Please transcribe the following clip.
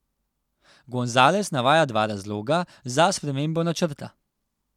Gonzales navaja dva razloga za spremembo načrta.